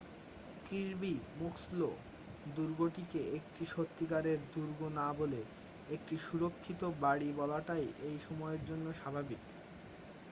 Kirby Muxloe দুর্গটিকে একটি সত্যিকারের দুর্গ না বলে একটি সুরক্ষিত বাড়ির বলাটাই এই সময়ের জন্য স্বাভাবিক